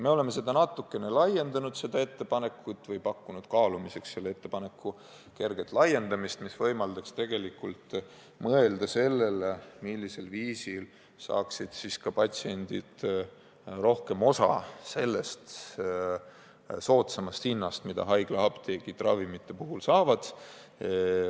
Me oleme seda ettepanekut natukene laiendanud või õigemini pakkunud kaalumiseks selle ettepaneku kerget laiendust, mis võimaldaks mõelda sellele, millisel viisil saaksid ka patsiendid rohkem osa soodsamast hinnast, mida haiglaapteegid ravimite puhul naudivad.